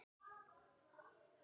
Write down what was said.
Hefur það enga þýðingu?